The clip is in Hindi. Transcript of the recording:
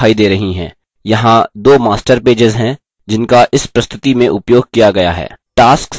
यहाँ दो master pages हैं जिनका इस प्रस्तुति में उपयोग किया गया है